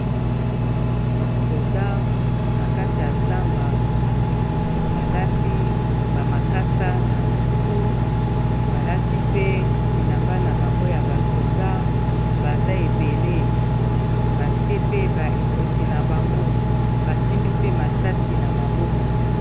basoda na kati ya zamba balati bamakasa na motu balati pe bilamba na bango ya basoda baza ebele batie pe ba ekoti na bango basimbi pe masasi na maboko